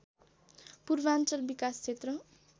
पूर्वाञ्चल विकासक्षेत्र